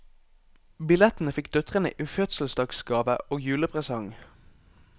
Billettene fikk døtrene i fødselsdagsgave og julepresang.